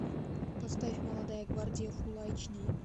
поставь молодая гвардия фулл айч ди